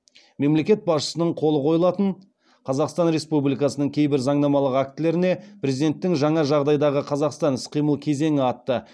мемлекет басшысының қолы қойылатын қазақстан республикасының кейбір заңнамалық актілеріне президенттің жаңа жағдайдағы қазақстан іс қимыл кезеңі атты